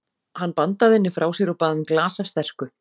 Hann bandaði henni frá sér og bað um glas af sterku.